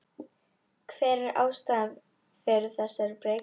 Hver er ástæðan fyrir þessari breytingu?